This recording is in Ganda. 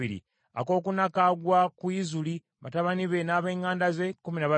akookuna kagwa ku Izuli, batabani be n’ab’eŋŋanda ze, kkumi na babiri;